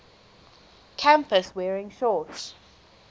campus wearing shorts